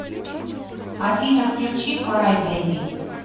афина включи край бейби